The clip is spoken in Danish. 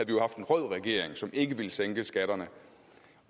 jo haft en rød regering som ikke ville sænke skatterne